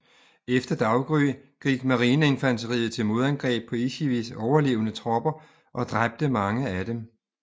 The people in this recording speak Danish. Efter daggry gik marineinfanteriet til modangreb på Ichikis overlevende tropper og dræbte mange flere af dem